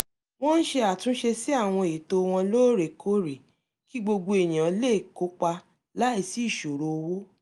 wọ́n ń ṣe àtúnṣe sí àwọn ètò wọn lóòrèkóòrè kí gbogbo èèyàn lè kópa láìsí ìṣòro owó